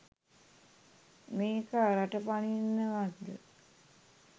මේකා රට පනින්නවත්ද?